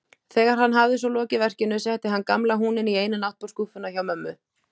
Þegar hann hafði svo lokið verkinu setti hann gamla húninn í eina náttborðsskúffuna hjá mömmu.